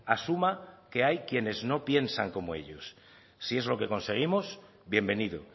asuma que hay quienes no piensan como ellos si es lo que conseguimos bienvenido